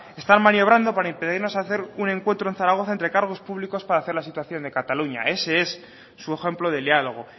están maniobrando para impedirnos hacer un encuentro en zaragoza entre cargos públicos para hacer la situación de cataluña ese es su ejemplo de diálogo